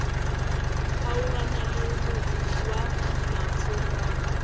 kgaogana le motse wa phafogang